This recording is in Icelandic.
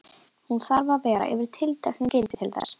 Hún þarf að vera yfir tilteknu gildi til þess.